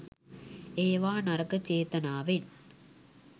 ඒවා නරක චේතනාවෙන්